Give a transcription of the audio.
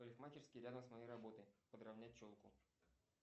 парикмахерские рядом с моей работой подровнять челку